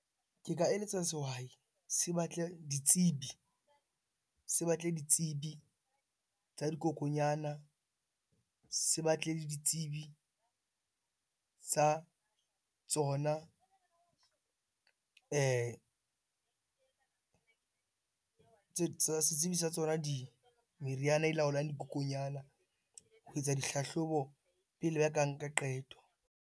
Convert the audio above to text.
Ke ka eletsa sehwai se batle ditsebi tsa dikokonyana, se batle le ditsebi sa tsona setsibi sa tsona di, meriana e laolang dikokonyana ho etsa dihlahlobo pele ba ka nka qeto.